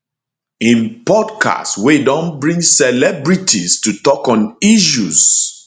im podcast wey don bring celebrities to tok on issues